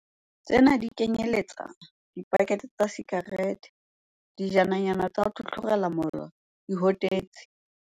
0Tsena di kenyeletsa dipakethe tsa disika rete, dijananyana tsa ho tlhotlhorela molora, dihotetsi.